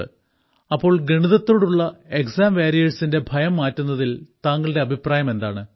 അപ്പോൾ ഗണിതത്തോടുള്ള എക്സാം വാരിയേഴ്സിന്റെ ഭയം മാറ്റുന്നതിൽ താങ്കളുടെ അഭിപ്രായം എന്താണ്